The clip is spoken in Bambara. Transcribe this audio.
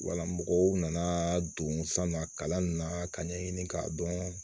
Wala mɔgɔw nana don san na kalan na ka ɲɛɲini k'a dɔn